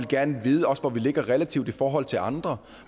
gerne vil vide hvor vi ligger relativt i forhold til andre